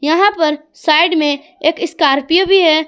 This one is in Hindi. यहां पर साइड में एक स्कॉर्पियो भी है।